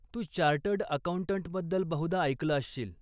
तू chartered अकाऊंटंटबद्दल बहुधा ऐकलं असशील?